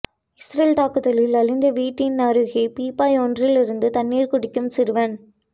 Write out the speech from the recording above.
Israel தாக்குதலில் அழிந்த வீட்டினருகே பீப்பாய் ஒன்றிலிருந்து தண்ணீர் குடிக்கும் சிறுவன்